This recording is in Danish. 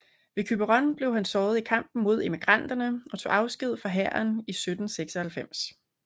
Ved Quiberon blev han såret i kampen mod emigranterne og tog afsked fra hæren 1796